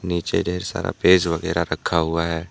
नीचे ढेर सारा पेज वगैरह रखा हुआ है।